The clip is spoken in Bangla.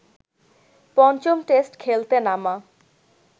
পঞ্চম টেস্ট খেলতে নামা